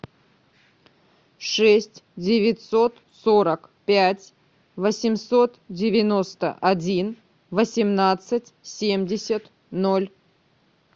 шесть девятьсот сорок пять восемьсот девяносто один восемнадцать семьдесят ноль